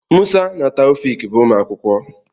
Musa na Taofiq bụ ụmụ akwụkwọ.